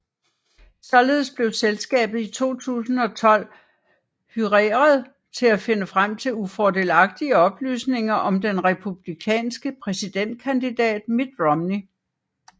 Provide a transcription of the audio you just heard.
Således blev selskabet i 2012 hyreret til at finde frem til ufordelagtige oplysninger om den republikanske præsidentkandidat Mitt Romney